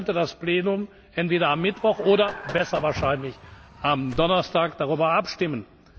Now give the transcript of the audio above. Dann könnte das Plenum entweder am Mittwoch oder besser wahrscheinlich am Donnerstag darüber abstimmen.